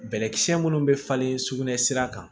Bɛnkisɛ minnu bɛ falen sugunɛ sira kan